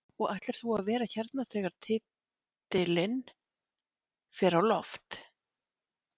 Og ætlar þú að vera hérna þegar titilinn fer á loft?